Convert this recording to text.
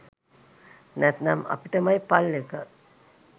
නැත්නම් අපිටමයි පල් එක